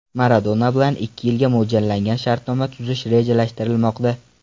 Maradona bilan ikki yilga mo‘ljallangan shartnoma tuzish rejalashtirilmoqda.